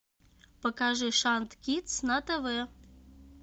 покажи шант кидс на тв